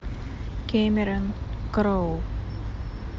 кэмерон кроу